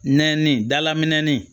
Nɛni dala minɛnnin